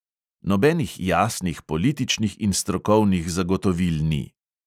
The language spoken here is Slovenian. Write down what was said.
Nobenih jasnih političnih in strokovnih zagotovil ni!